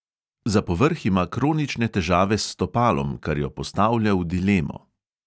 Za povrh ima kronične težave s stopalom, kar jo postavlja v dilemo.